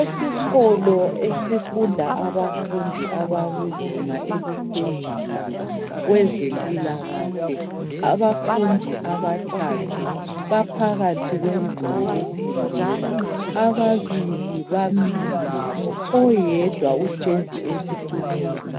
Esikolo esifunda abafundi abakuzinga eliphezulu kwezempilakahle. Abafundi abathathu baphakathi kwendlu yokufundela. Ababili bamile , oyedwa uhlezi esitulweni